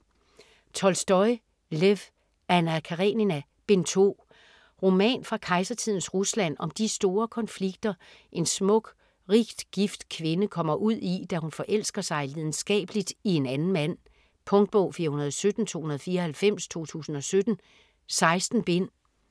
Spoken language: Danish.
Tolstoj, Lev: Anna Karenina: Bind 2 Roman fra kejsertidens Rusland om de store konflikter, en smuk, rigt gift kvinde kommer ud i, da hun forelsker sig lidenskabeligt i en anden mand. Punktbog 417294 2017. 16 bind.